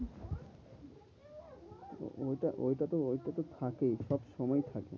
ওইটা ওইটা তো ওইটা তো থাকেই সবসময় থাকেই।